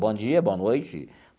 Bom dia, boa noite.